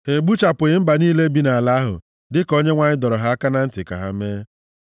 Ha egbuchapụghị mba niile bi nʼala ahụ dịka Onyenwe anyị dọrọ ha aka na ntị ka ha mee.